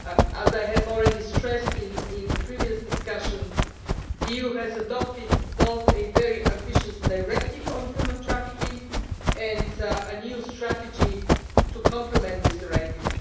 As I have already stressed in the previous discussion, the EU has adopted both a very ambitious directive on human trafficking and an EU strategy to complement this directive.